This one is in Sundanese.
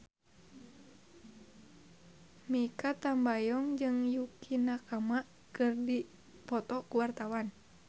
Mikha Tambayong jeung Yukie Nakama keur dipoto ku wartawan